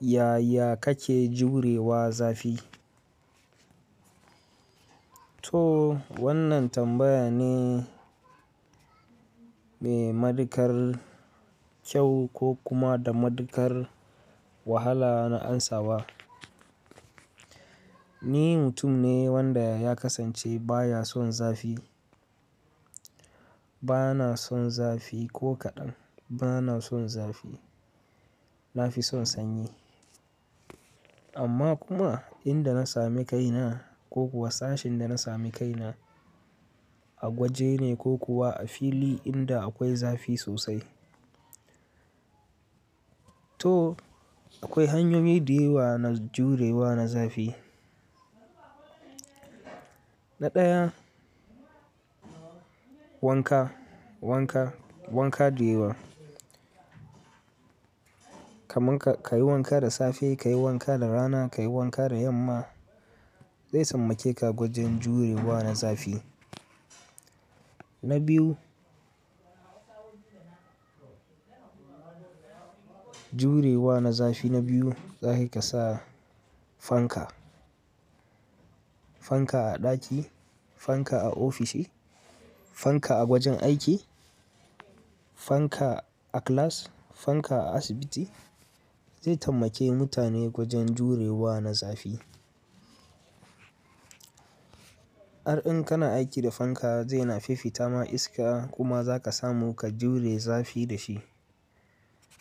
Yaya kake jurewa zafi? To wannan tambaya ne mai matuƙar kyau ko kuma da matuƙar wahala na amsawa. Ni mutum ne wanda ya kasance baya son zafi. Bana son zafi ko kaɗan. Bana son zafi. Na fi son sanyi. Amma kuma inda na sami kaina ko kuwa sashin da na sami kaina a gwaje ne ko kuwa a fili inda akwai zafi sosai. To akwai hanyoyi da yawa na jurewa na zafi. Na ɗaya, wanka, wanka, wanka da yawa. Kaman ka yi wanka da safe, ka yi wanka da rana, ka yi wanka da yamma, zai taimake ka gwajin jurewa na zafi. Na biyu, jurewa na zafi na biyu, za ka iya ka sa fanka. Fanka a ɗaki, fanka a ofishi, fanka a gwajin aiki, fanka a class, fanka a asibiti zai tabbake mutane gwajin jurewa na zafi. Har in kana aiki da fanka zai na fiffita ma iska kuma za ka samu ka jure zafi da shi.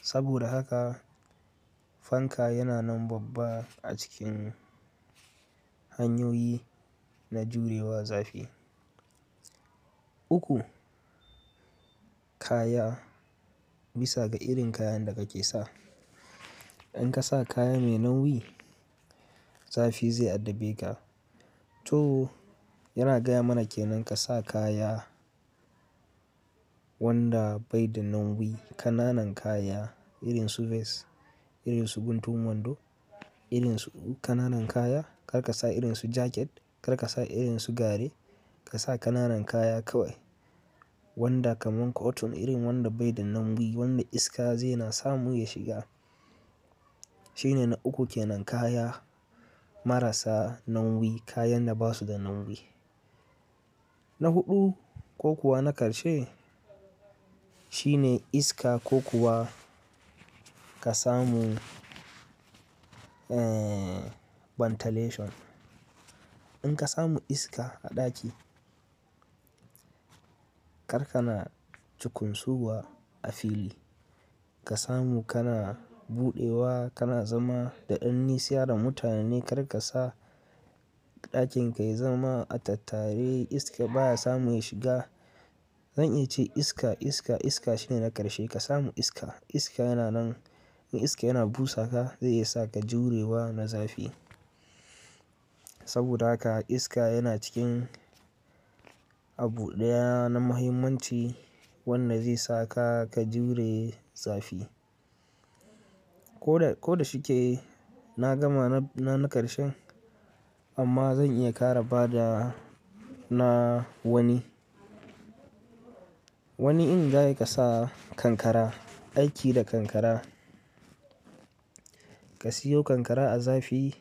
Saboda haka fanka yana nan babba a cikin hanyoyi na jurewa zafi. Uku, kaya. Bisa ga irin kayan da kake sa. In ka sa kaya mai nauyi, zafi zai addabe ka. To yana gaya mana ke nan ka sa kaya wanda bai da nauyi, ƙananan kaya irin su vest, irin su guntun wando, irin su ƙananan kaya. Kar ka sa irin su jaket, kar ka sa irin su gari. Ka sa ƙananan kaya kawai wanda kaman cotton irin wanda bai da nauyi wanda iska zai na samu ya shiga. Shine na uku ke nan, kaya marasa nauyi, kayan da ba su da nauyi. Na huɗu ko kuwa na ƙarshe shine iska ko kuwa ka samu, ee, ventilation. In ka samu iska a ɗaki, kar kana cukunsuwa a fili. Ka samu kana buɗewa, kana zama daɗaɗani, siyara mutane kar ka sa ɗakin ka ya zama attatare. Iska baya samu ya shiga. Zan iya ce iska, iska, iska shine na ƙarshe. Ka samu iska. Iska yana nan, in iska yana busa ka zai iya sa ka jurewa na zafi. Saboda haka iska yana cikin abu ɗaya na muhimmanci wanda zai sa ka ka jure zafi. Ko da, ko da shike na gama na, na ƙarshen amma zan iya ƙara bada na wani. Wani in za ka sa kankara, aiki da kankara. Ka siyo kankara a zafi.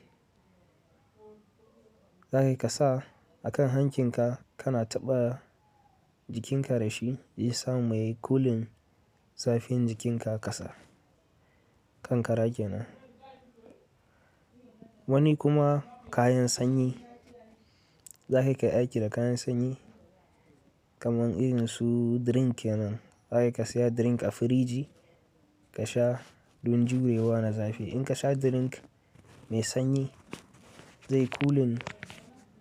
Za ka iya ka sa a kan hankin ka. Kana taɓa jikinka da shi zai sa mai cooling zafin jikinka ka kasa. Kankara kenan. Wani kuma kayan sanyi. Za ka iya ka aiki da kayan sanyi kaman irin su drink kenan. Za ka iya ka saya drink a firiji ka sha don jurewa na zafi. In ka sha drink mai sanyi zai cooling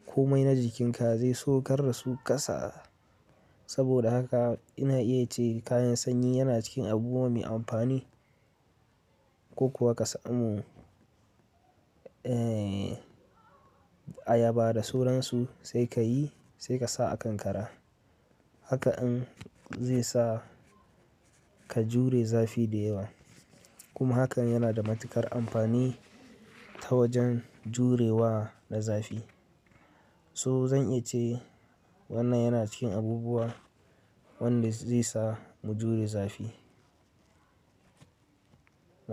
komai na jikinka zai saukar da su kasa. Saboda haka ina iya ce kayan sanyi yana cikin abubuwa mai amfani. Ko kuwa ka samu, ee, ayaba da suransu sai ka yi sai ka sa a kankara. Haka in zai sa ka jure zafi da yawa. Kuma hakan yana da matuƙar amfani ta wajen jurewa na zafi. So zan iya ce wannan yana cikin abubuwa wanda zai sa mu jure zafi. Na.